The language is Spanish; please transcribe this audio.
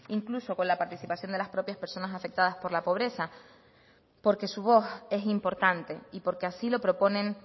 incluso con la participación de las propias personas afectadas por la pobreza porque su voz es importante y porque así lo proponen